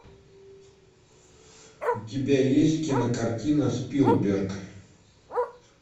у тебя есть кинокартина спилберг